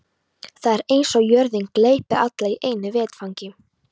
Það er eins og jörðin gleypi alla í einu vetfangi.